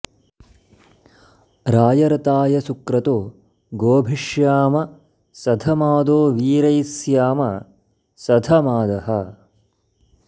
राय ऋताय सुक्रतो गोभिः ष्याम सधमादो वीरैः स्याम सधमादः